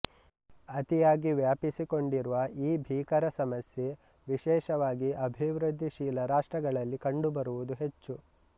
ಅತಿಯಾಗಿ ವ್ಯಾಪಿಸಿಕೊಂಡಿರುವ ಈ ಭೀಕರ ಸಮಸ್ಯೆ ವಿಶೇಷವಾಗಿ ಅಭಿವೃದ್ಧಿಶೀಲ ರಾಷ್ಟ್ರಗಳಲ್ಲಿ ಕಂಡುಬರುವುದು ಹೆಚ್ಚು